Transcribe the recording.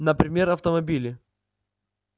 например автомобили